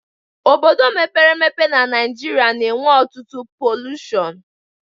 Obodo mepere emepe n'Naijiria na enwe ọtụtụ polushon